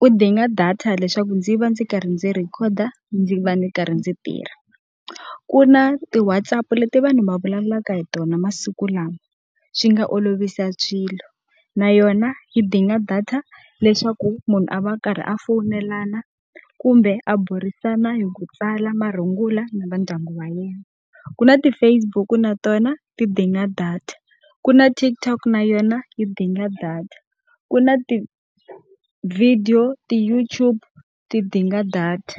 wu dinga data leswaku ndzi va ndzi karhi ndzi rhekhoda ndzi va ndzi karhi ndzi tirha. Ku na ti-Whatsapp leti vanhu va vulavulaka hi tona masiku lawa, swi nga olovisa swilo, na yona yi dinga data leswaku munhu a va a karhi a foyinelana kumbe a burisana hi ku tsala marungula na va ndyangu va yena. Ku na ti-Facebook na tona ti dinga data, ku na TikTok na yona yi dinga data, ku na ti-video, ti-YouTube ti dinga data.